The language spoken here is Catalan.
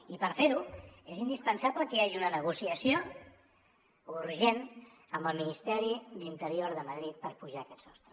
i per fer ho és indispensable que hi hagi una negociació urgent amb el ministeri d’interior de madrid per apujar aquest sostre